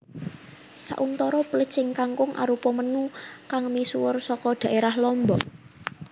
Sauntara plecing kangkung arupa menu kang misuwur saka dhaérah Lombok